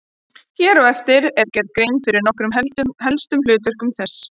Hér á eftir er gerð grein fyrir nokkrum helstu hlutverkum þess.